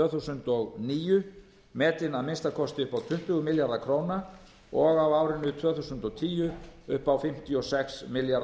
þúsund og níu metin að minnsta kosti upp á tuttugu milljarða króna og á árinu tvö þúsund og tíu upp á fimmtíu og sex milljarða